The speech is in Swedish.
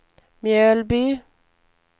Mjölby